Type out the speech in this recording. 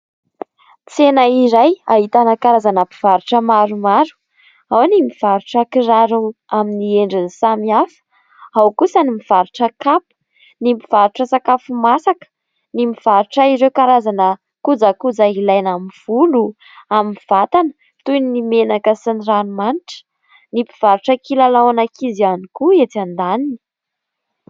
Tsena iray ahitana karazana mpivarotra maromaro. Ao ny mivarotra kiraro amin'ny endriny samy hafa, ao kosa ny mivarotra kapa, ny mivarotra sakafo masaka, ny mivarotra ireo karazana kojakoja ilaina amin'ny volo, amin'ny vatana, toy ny menaka sy ny ranomanitra, ny mpivarotra kilalaon'ankizy ihany koa etsy andaniny.